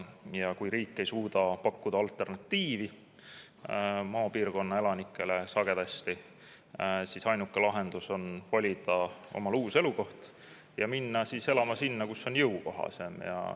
Ja kui riik ei suuda pakkuda alternatiivina sagedasti maapiirkonna elanikele, siis ainuke lahendus on valida omale uus elukoht ja minna elama sinna, kus on jõukohasem.